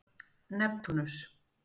Neptúnus